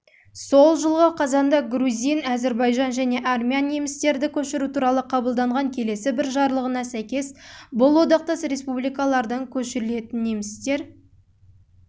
жылғы қазанда грузин әзірбайжан және армян немістерді көшіру туралы қабылданған келесі бір жарлығына сәйкес бұл одақтас республикалардан көшірілетін